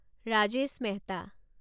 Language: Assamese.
ৰাজেশ মেহতা